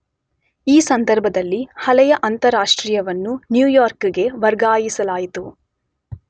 ಈ ಸಂದರ್ಭದಲ್ಲಿ ಹಳೆಯ ಅಂತಾರಾಷ್ಟ್ರೀಯವನ್ನು ನ್ಯೂಯಾರ್ಕಿಗೆ ವರ್ಗಾಯಿಸಲಾಯಿತು.